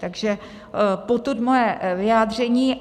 Takže potud moje vyjádření.